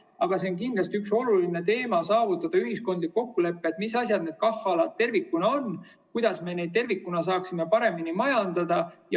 Aga see on kindlasti oluline teema: saavutada ühiskondlik kokkulepe, mis asjad need KAH‑alad tervikuna on ja kuidas me tervikuna saaksime neid paremini majandada.